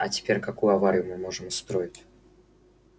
а теперь какую аварию мы можем устроить